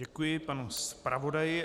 Děkuji panu zpravodaji.